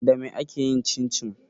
Dame ake yin cincin?